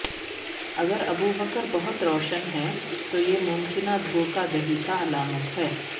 اگر ابوبکر بہت روشن ہیں تو یہ ممکنہ دھوکہ دہی کا علامت ہے